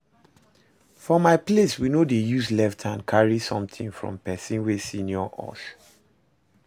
For my place we no dey use left hand carry something from person wey senior us